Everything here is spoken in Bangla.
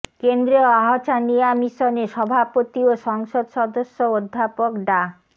কেন্দ্রীয় আহ্ছানিয়া মিশনের সভাপতি ও সংসদ সদস্য অধ্যাপক ডা